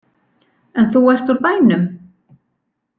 En þú ert úr bænum?